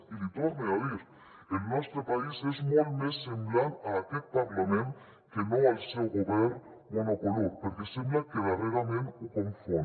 i l’hi torne a dir el nostre país és molt més semblant a aquest parlament que no al seu govern monocolor perquè sembla que darrerament ho confon